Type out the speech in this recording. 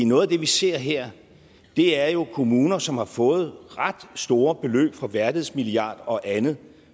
noget af det vi ser her er jo kommuner som har fået ret store beløb fra værdighedsmilliarden og andet